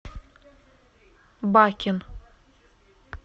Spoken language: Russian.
бакен